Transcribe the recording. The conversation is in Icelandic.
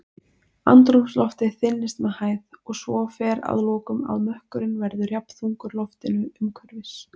Andrúmsloftið þynnist með hæð, og svo fer að lokum að mökkurinn verður jafnþungur loftinu umhverfis.